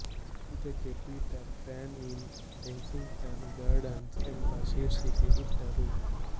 ಇದಕ್ಕೆ Peter Pan in Kensington Gardens ಎಂಬ ಶೀರ್ಷಿಕೆ ಇಟ್ಟರು